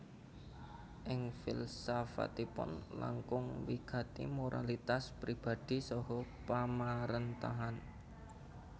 Ing filsafatipun langkung wigati moralitas pribadhi saha pamaréntahan